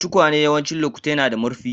Tukwane yawancin lokatai na da murfi.